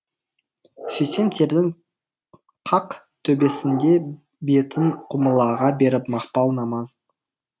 сөйтсем төрдің қақ төбесінде бетін құбылаға беріп мақпал намаз оқып отыр